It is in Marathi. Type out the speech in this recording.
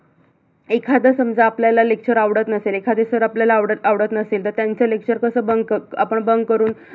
एखाद समजा आपल्याला lecture आवडत नसेल एखादे sir आपल्याला आवडत आवडत नसतील तर त्याचं lecture कस bunk कस bunk करून